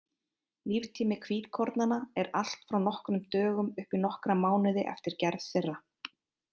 Líftími hvítkornanna er allt frá nokkrum dögum upp í nokkra mánuði eftir gerð þeirra.